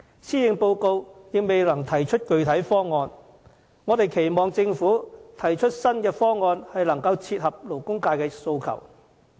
施政報告仍未能提出具體方案，我們期望政府提出新方案，切合勞工界的訴求。